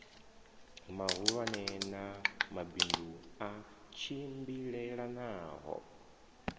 mahulwane na mabindu a tshimbilelanaho